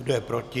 Kdo je proti?